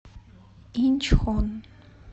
инчхон